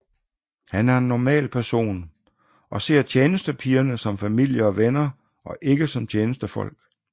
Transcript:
Han er en normal person og ser tjenestepigerne som familie og venner og ikke som tjenestefolk